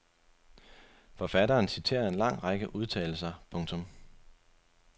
Forfatteren citerer en lang række udtalelser. punktum